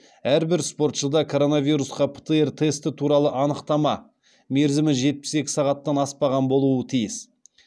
әрбір спортшыда коронавирусқа птр тесті туралы анықтама болуы тиіс